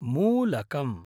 मूलकम्